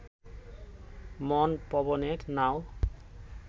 মন পবনের নাও